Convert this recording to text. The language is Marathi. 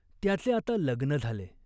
त्याचे आता लग्न झाले.